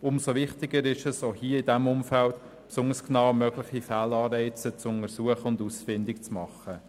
Umso wichtiger ist es, auch hier in diesem Umfeld mögliche Fehlanreize ausfindig zu machen und genau zu prüfen.